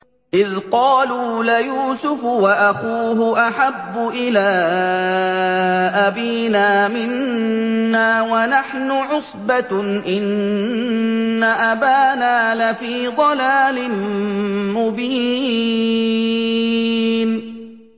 إِذْ قَالُوا لَيُوسُفُ وَأَخُوهُ أَحَبُّ إِلَىٰ أَبِينَا مِنَّا وَنَحْنُ عُصْبَةٌ إِنَّ أَبَانَا لَفِي ضَلَالٍ مُّبِينٍ